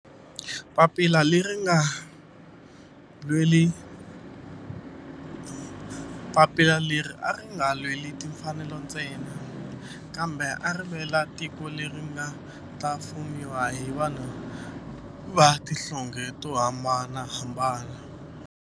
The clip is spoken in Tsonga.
Papila leri a ri nga lweli timfanelo ntsena kambe ari lwela tiko leri nga ta fumiwa hi vanhu va tihlonge to hambanahambana.